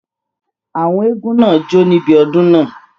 Àwọn eégún náà jó níbi odun náà